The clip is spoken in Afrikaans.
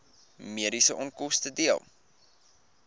mediese onkoste dele